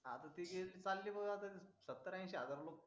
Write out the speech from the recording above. ती गेली चाली बग सत्तर अंशी हजार लुक